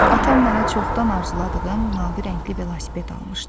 Atam mənə çoxdan arzuladığım mavi rəngli velosiped almışdı.